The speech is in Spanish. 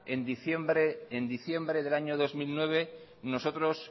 en diciembre del año dos mil nueve nosotros